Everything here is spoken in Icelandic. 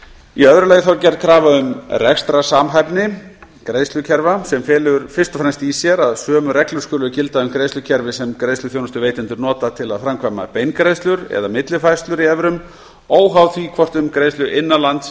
í öðru lagi er gerð krafa um rekstrarsamhæfni greiðslukerfa sem felur fyrst og fremst í sér að sömu reglur skulu gilda um greiðslukerfi sem greiðsluþjónustuveitendur nota til að framkvæma beingreiðslur eða millifærslur í evrum óháð því hvort um greiðslu innan